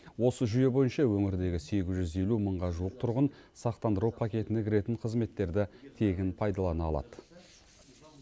осы жүйе бойынша өңірдегі сегіз жүз елу мыңға жуық тұрғын сақтандыру пакетіне кіретін қызметтерді тегін пайдалана алады